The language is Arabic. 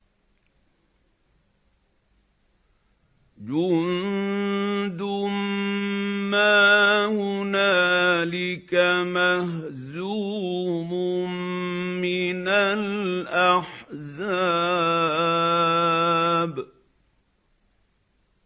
جُندٌ مَّا هُنَالِكَ مَهْزُومٌ مِّنَ الْأَحْزَابِ